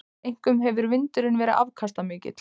Einkum hefur vindurinn verið afkastamikill.